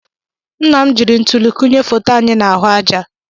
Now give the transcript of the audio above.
Nna m jiri ntuli kụnye foto anyị n'ahụ àjà.